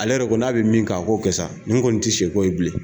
Ale yɛrɛ ko n'a be min kɛ a k'o kɛ sa nin kɔni ti sɛ ko ye bilen